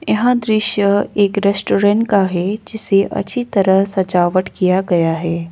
यहां दृश्य एक रेस्टोरेंट का है जिसे अच्छी तरह सजावट किया गया है।